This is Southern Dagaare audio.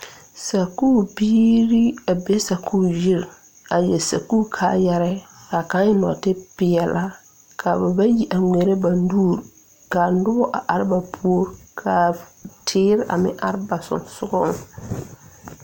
Sakuure biire a be sakuure yiri a yɛre sakuure kaayɛrɛɛ kaa kaŋ eŋ nɔɔtipeɛlaa kaa ba bayi a ngmeɛrɛ ba nuure kaa nobɔ a are ba puori kaa teere a meŋ are ba suŋsuŋɔŋ.